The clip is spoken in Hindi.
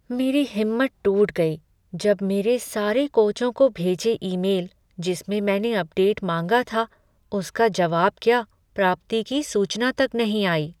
मेरी हिम्मत टूट गई जब मेरे सारे कोचों को भेजे ईमेल, जिस में मैंने अपडेट माँगा था, उसका जवाब क्या, प्राप्ति की सूचना तक नहीं आई।